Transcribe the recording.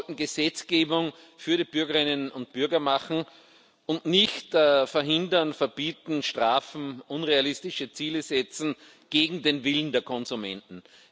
Ich glaube, wir sollten Gesetzgebung für die Bürgerinnen und Bürger machen und nicht verhindern, verbieten, strafen, unrealistische Ziele setzen gegen den Willen der Konsumenten.